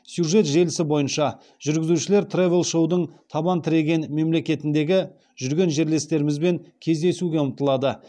сюжет желісі бойынша жүргізушілер тревел шоудың табан тіреген мемлекетіндегі жүрген жерлестерімізбен кездесуге ұмтылады